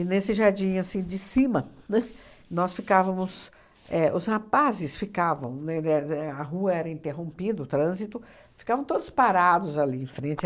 E, nesse jardim assim de cima, né, nós ficávamos é... Os rapazes ficavam, né, de é... A rua era interrompida, o trânsito... Ficavam todos parados ali em frente.